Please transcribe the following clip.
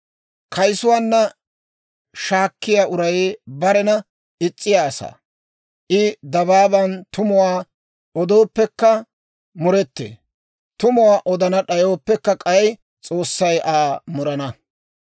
Kayisuwaanna shaakkiyaa uray barena is's'iyaa asaa; I dabaaban tumuwaa odooppekka muretee; tumuwaa odana d'ayooppe k'ay, S'oossay Aa murana.